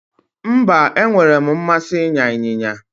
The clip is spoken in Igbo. Mba, enwere m mmasi ịnya ịnyịnya